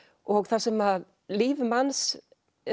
og þar sem líf manns